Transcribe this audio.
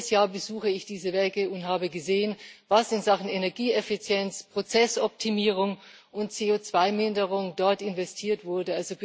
Jedes Jahr besuche ich diese Werke und habe gesehen, was in Sachen Energieeffizienz, Prozessoptimierung und CO2 Minderung dort investiert wurde.